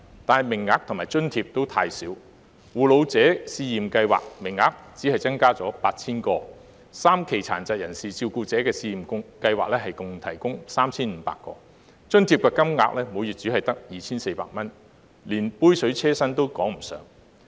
但是，各項計劃的名額及津貼都太少，護老者試驗計劃名額只增加 8,000 個 ，3 期殘疾人士照顧者試驗計劃共提供 3,500 個名額，津貼金額每月只有 2,400 元，連杯水車薪也談不上。